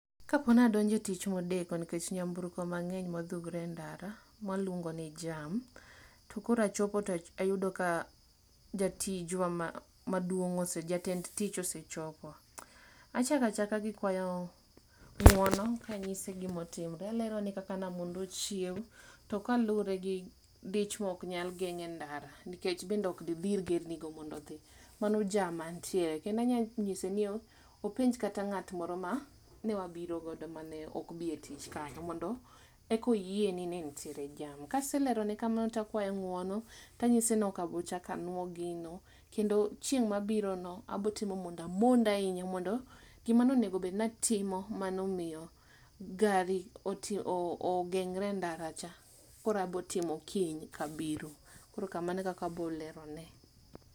Kapo nadonje tich modeko nikech nyamburko mang'eny modhugre e ndara, mwalongo ni jam. To korachopo tayudo ni jatijwa ma maduong', ose jatend tich osechopo. Achaka chaka gi kwayo ng'uono kanyise gimotimre, alerone kaka namondo chiewo. To kaluwre gi dich mok nyal geng' e ndara nikech bende ok didhir gerni go mondodhi, mano jam mantiere. Kendanya nyise ni o openj kata ng'at moro ma ne wabirogodo mane ok bi e tich kanyo mondo ekoyie ni nenitiere jam. Kaselerone kamano to akwayo ng'uono tanyise ni okabochakanwo gino. Kendo chieng' mabirono abotimo monda mond ahinya mondo gimanonego obednatimo manomiyo gari ogeng're e ndara cha, koroabotimo kiny kabiro. Koro kamano e kaka abolerone.